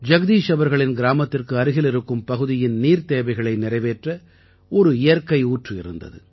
ஜகதீஷ் அவர்களின் கிராமத்திற்கு அருகில் இருக்கும் பகுதியின் நீர்த்தேவைகளை நிறைவேற்ற ஒரு இயற்கையூற்று இருந்தது